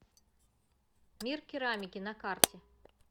мир керамики на карте